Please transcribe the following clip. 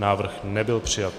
Návrh nebyl přijat.